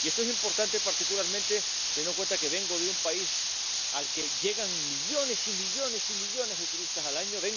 Y esto es importante, particularmente teniendo en cuenta que vengo de un país al que llegan millones y millones y millones de turistas al año